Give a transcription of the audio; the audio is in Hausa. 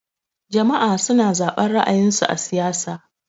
Jama'a suna zaben ra'ayin su a siyasa.